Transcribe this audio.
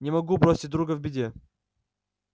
не могу бросить друга в беде